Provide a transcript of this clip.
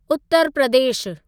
उत्तर प्रदेशु